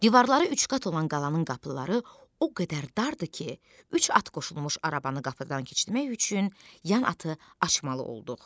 Divarları üçqat olan qalanın qapıları o qədər dardır ki, üç at qoşulmuş arabanı qapıdan keçirmək üçün yan atı açmalı olduq.